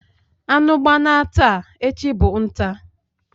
Anu gbana taa, echi bu nta..